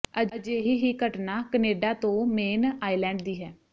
ਅਜਿਹੀ ਹੀ ਘਟਨਾ ਕਨੇਡਾ ਤੋਂ ਮੇਨ ਆਇਲੈਂਡ ਦੀ ਹੈ